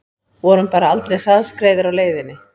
Vorum bara aldrei hraðskreiðir á leiðinni